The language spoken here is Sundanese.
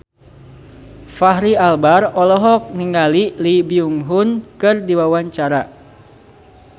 Fachri Albar olohok ningali Lee Byung Hun keur diwawancara